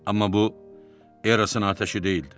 Amma bu Erasın atəşi deyildi.